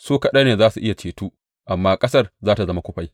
Su kaɗai za a iya ceto, amma ƙasar za tă zama kufai.